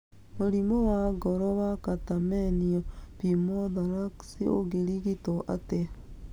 Mũrimũ wa ngoro wa catamenial pneumothorax ũngĩrigitwo atĩa